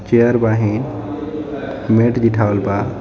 Chair बाहिन mat बिठावल बा.